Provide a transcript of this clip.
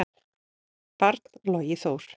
barn: Logi Þór.